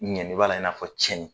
Ɲɛni b'a la i n'a fɔ cɛnin.